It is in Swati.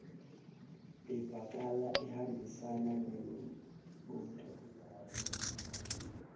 ivakala ihambisana nembuto